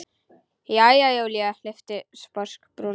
Jæja, Júlía lyfti sposk brúnum.